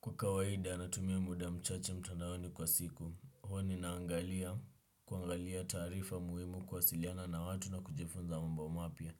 Kwa kawaida natumia muda mchache mtandaoni kwa siku, huwa ninaangalia kuangalia taarifa muhimu kuwasiliana na watu na kujifunza mambo mapya.